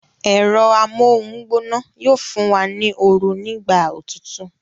Ẹ̀rọ amóhungbóná yóò fún wa ní oru ní ìgbà òtútù